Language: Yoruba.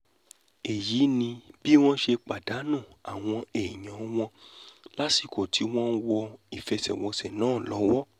èyí ni bí wọ́n ṣe pàdánù àwọn èèyàn wọn lásìkò tí wọ́n ń wọ ìfẹsẹ̀wọnsẹ̀ náà lọ́wọ́